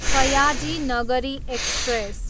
Sayaji Nagari express